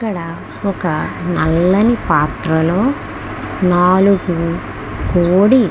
ఇక్కడ ఒక నల్లని పాత్రలో నాలుగు కోడి --